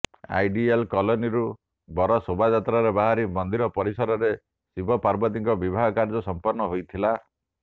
ideal କଲୋନୀରୁ ବର ଶୋଭାଯାତ୍ରାରେ ବାହାରି ମନ୍ଦିର ପରିସରରେ ଶିବ ପାର୍ବତୀଙ୍କ ବିବାହ କାର୍ଯ୍ୟ ସମ୍ପନ୍ନ ହୋଇଥିଲା